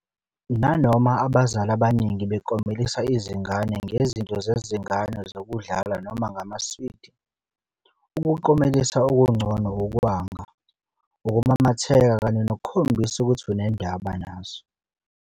Nanoma abazali abaningi beklomelisa izingane ngezinto zezingane zokudlala noma ngamaswidi, ukuklomelisa okungcono ukwanga, ukumamatheka kanye nokukhombisa ukuthi unendaba nazo.